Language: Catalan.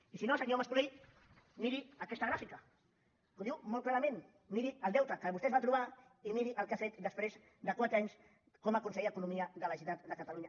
i si no senyor mas colell miri aquesta gràfica molt clarament miri el deute que vostè es va trobar i miri el que ha fet després de quatre anys com a conseller d’economia de la generalitat de catalunya